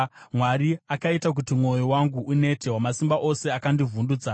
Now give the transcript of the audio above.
Mwari akaita kuti mwoyo wangu unete; Wamasimba Ose akandivhundutsa.